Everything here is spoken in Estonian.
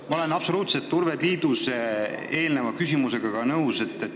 Ma olen absoluutselt nõus Urve Tiidusega.